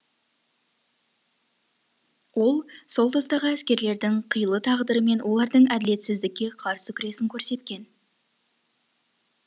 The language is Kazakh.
ол сол тұстағы әскерлердің қилы тағдыры мен олардың әділетсіздікке қарсы күресін көрсеткен